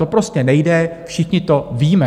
To prostě nejde, všichni to víme.